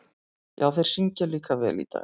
Já, og þeir syngja líka vel í dag.